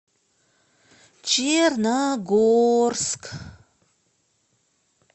черногорск